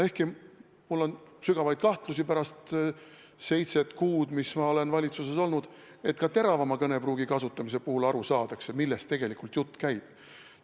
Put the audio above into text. Ehkki mul on sügavaid kahtlusi pärast seitset kuud, mis ma olen valitsuses olnud, et ka teravama kõnepruugi kasutamise puhul aru saadakse, millest tegelikult jutt käib.